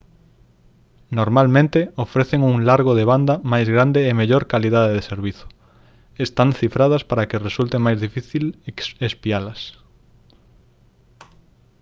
normalmente ofrecen un largo de banda máis grande e mellor calidade de servizo están cifradas para que resulte máis difícil espialas